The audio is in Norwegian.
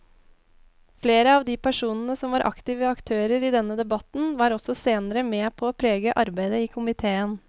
Flere av de personene som var aktive aktører i denne debatten var også senere med på å prege arbeidet i komiteen.